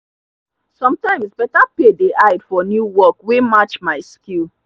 sometimes better pay dey hide for new work wey match my skill.